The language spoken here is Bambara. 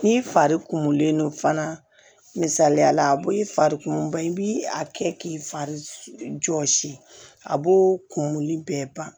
N'i fari kumulen don fana misaliya la a b'o i fari kumun ba i b'i a kɛ k'i fari jɔsi a b'o kumu bɛɛ ban